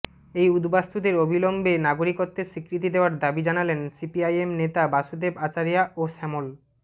এই উদ্বাস্তুদের অবিলম্বে নাগরিকত্বের স্বীকৃতি দেওয়ার দাবি জানালেন সিপিআইএম নেতা বাসুদেব আচারিয়া ও শ্যামল